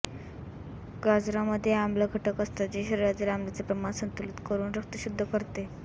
गाजरामध्ये आम्ल घटक असतात जे शरीरातील आम्लाचे प्रमाण संतुलित करून रक्त शुद्ध करते